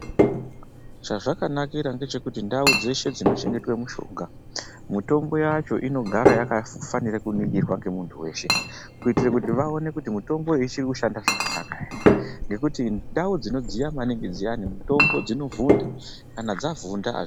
Chazvakanakira ngechekuti ndau dzeshe dzinochengetwe mishonga, mitombo yacho inogara yakafanire kuningirwa ngemuntu weshe. Kuitire kuti vaone kuti mitombo iyi ichiri kushanda zvakanaka here. Ngekuti mutombo ndau dzinodziya maningi dxiyani mitombo dzinovhunda, kana dzavhunda hai...